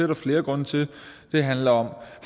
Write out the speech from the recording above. der flere grunde til det handler om